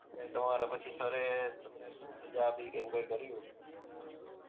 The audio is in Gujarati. એટલે તમાર પછી સર એ તમને શું સજા આપી કે એવું કાઈ કર્યું?